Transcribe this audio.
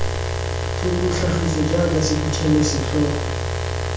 tlhoko tlhagiso jaaka sephuthelo setlhogo